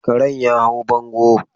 Karen ya hau bango.